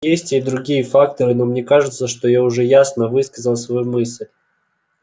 есть и другие факторы но мне кажется что я уже ясно высказал свою мысль